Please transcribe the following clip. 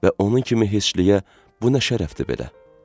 Və onun kimi heçliyə bu nə şərəfdir belə?